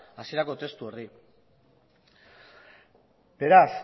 hasierako testu horri beraz